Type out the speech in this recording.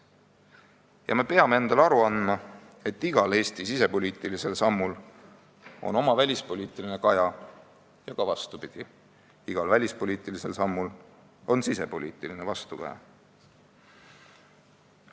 Ja me peame endale aru andma, et igal Eesti sisepoliitilisel sammul on oma välispoliitiline kaja ja ka vastupidi, igal välispoliitilisel sammul on sisepoliitiline vastukaja.